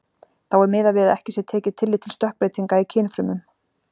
Þá er miðað við ekki sé tekið tillit til stökkbreytinga í kynfrumum.